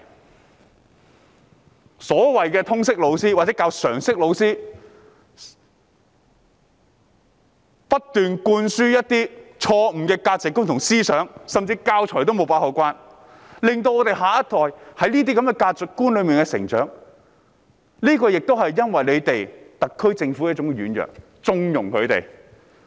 那些通識科或常識科老師不斷灌輸一些錯誤的價值觀和思想，而教材方面也未有妥善把關，令下一代在這種價值觀下成長，原因同樣是特區政府的軟弱和縱容。